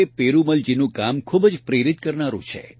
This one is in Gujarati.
પેરૂમલજીનું કામ ખૂબ જ પ્રેરિત કરનારૂં છે